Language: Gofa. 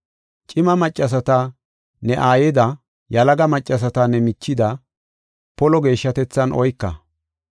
Cima maccasata ne aayida, yalaga maccasata ne michida, polo geeshshatethan oyka.